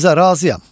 Həmzə, razıyam.